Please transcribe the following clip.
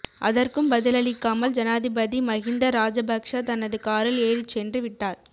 அதற்கும் பதிலளிக்காமல் ஜனாதிபதி மகிந்த ராஜபக்ஷ தனது காரில் ஏறிச்சென்று விட்டார்